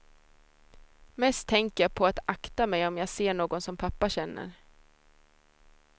Mest tänker jag på att akta mig om jag ser någon som pappa känner.